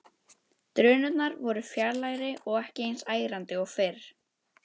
Drunurnar voru fjarlægari og ekki eins ærandi og fyrr.